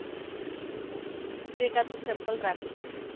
એકાદ બે sample રાખુ છુ